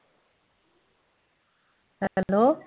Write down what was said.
Hello